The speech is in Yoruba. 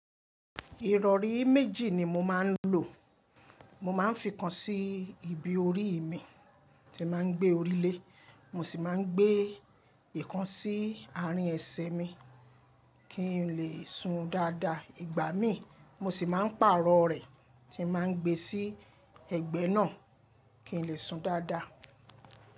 Ìrọ̀rí méjì ni mo máa ń lò. Mo máa ń fi kan sí ibi orí mi tí màá ń gbé orí lé, mo sì máa ń gbé ìkan sí àárín ẹsẹ̀ mi kí n lè su dáadáa. Ìgbà mí, mo sì máa ń pàrọ̀ rẹ̀ tí màá ń gbé sí ẹ̀gbẹ́ náà kí n lè sun dáadáa.